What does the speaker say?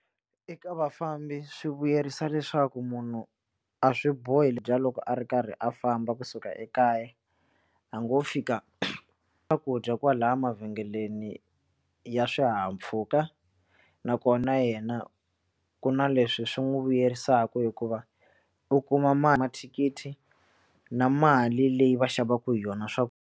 Eka vafambi swi vuyerisa leswaku munhu a swi bohi ku dya loko a ri karhi a famba kusuka ekaya a ngo fika swakudya kwala mavhengeleni ya swihahampfhuka nakona yena ku na leswi swi n'wi vuyerisaku hikuva u kuma mali mathikithi na mali leyi va xavaku hi yona .